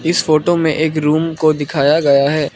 इस फोटो में एक रूम को दिखाया गया है।